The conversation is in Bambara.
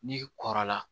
N'i kɔrɔla